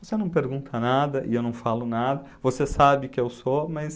Você não pergunta nada e eu não falo nada, você sabe que eu sou, mas...